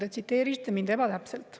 Te tsiteerisite mind ebatäpselt.